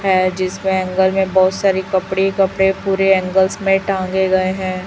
है जिस में एंगल में बहोत सारे कपड़े कपड़े पूरे एंगल्स में टांगे गए हैं।